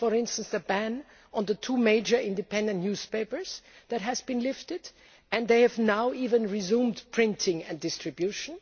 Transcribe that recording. For example, the ban on two major independent newspapers has been lifted and they have now even resumed printing and distribution.